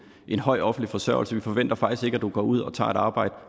en høj offentlig forsørgelse vi forventer faktisk ikke at du går ud og tager et arbejde